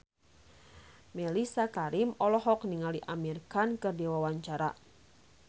Mellisa Karim olohok ningali Amir Khan keur diwawancara